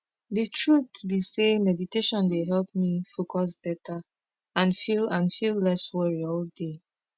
de truth be say meditation dey help me focus beta and feel and feel less worry all day